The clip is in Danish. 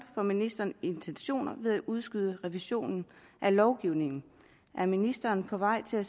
for ministerens intentioner med at udskyde revisionen af lovgivningen er ministeren på vej til at